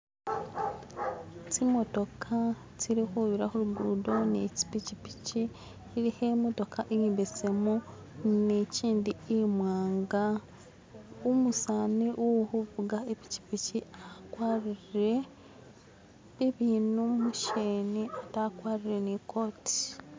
Tsimotokha tsili khubira khulugudo ni tsipichipichi ilikho imotokha imbesemu ni chindi imwanga umusanu uhuvuga ipichipichi a kwarile ibinu musheni atee akwarile ni kooti